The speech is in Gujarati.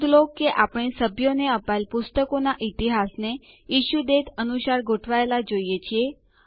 નોંધ લો કે આપણે સભ્યોને અપાયેલ પુસ્તકોનાં ઈતિહાસને ઇશ્યુ દાતે અનુસાર ગોઠવાયેલા જોઈએ છીએ